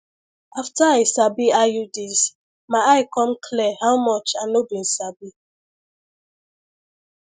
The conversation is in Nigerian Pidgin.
after i sabi iuds my eye come clear how much i no been sabi